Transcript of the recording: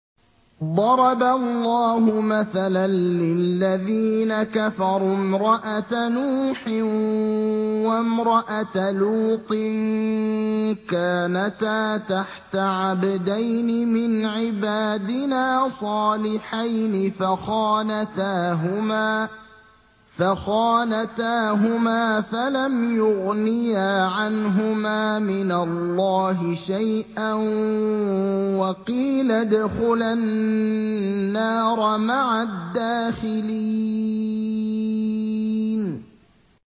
ضَرَبَ اللَّهُ مَثَلًا لِّلَّذِينَ كَفَرُوا امْرَأَتَ نُوحٍ وَامْرَأَتَ لُوطٍ ۖ كَانَتَا تَحْتَ عَبْدَيْنِ مِنْ عِبَادِنَا صَالِحَيْنِ فَخَانَتَاهُمَا فَلَمْ يُغْنِيَا عَنْهُمَا مِنَ اللَّهِ شَيْئًا وَقِيلَ ادْخُلَا النَّارَ مَعَ الدَّاخِلِينَ